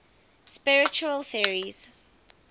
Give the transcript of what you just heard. spiritual theories